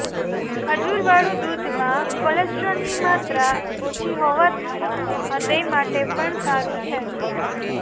ખજૂરવાળું દૂધમાં કોલોસ્ટ્રોલની માત્રા ઓછી હોવાથી હ્યદય માટે પણ સારૂ છે